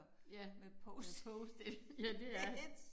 Ja med post it ja det er det